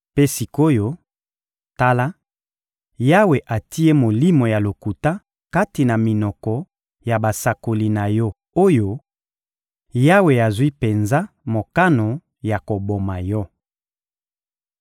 Mpe sik’oyo, tala, Yawe atie molimo ya lokuta kati na minoko ya basakoli na yo oyo; Yawe azwi penza mokano ya koboma yo.